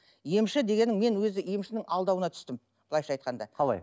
емші дегенің мен өзі емшінің алдауына түстім былайша айтқанда қалай